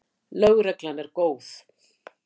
LÖGREGLAN ER GÓÐ.